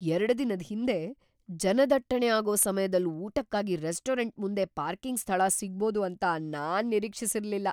ಎರಡು ದಿನದ್ ಹಿಂದೆ, ಜನದಟ್ಟಣೆ ಆಗೋ ಸಮ್ಯದಲ್ ಊಟಕ್ಕಾಗಿ ರೆಸ್ಟೋರೆಂಟ್ ಮುಂದೆ ಪಾರ್ಕಿಂಗ್ ಸ್ಥಳ ಸಿಗ್ಬೋದು ಅಂತ ನಾನ್ ನಿರೀಕ್ಷಿಸಿರ್ಲಿಲ್ಲ.